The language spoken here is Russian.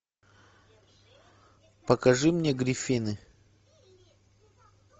покажи мне гриффины